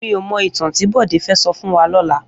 Mi ó mò itàn ti Bode fè sò fún wà lòlá